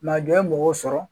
Mɛ a jɔ ye mɔgɔw sɔrɔ